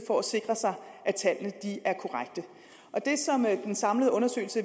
for at sikre at tallene er korrekte det som den samlede undersøgelse